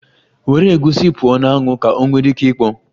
Were egusi pụọ na anwụ! Ka ọ nwere ike ikpọ.